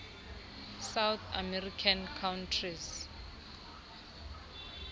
south american countries